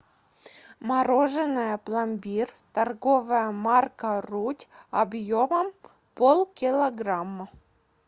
мороженое пломбир торговая марка руть объемом полкилограмма